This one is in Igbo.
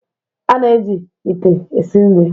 a na-eji ite esi nri